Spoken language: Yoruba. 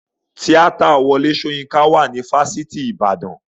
Tíátà Wọlé Soyinka wà ní fáfitì ìbàdàn.